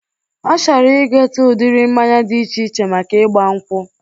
Ọ chọrọ ịgote udiri mmanya dị iche iche maka igba nkwụ